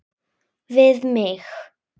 Við mig.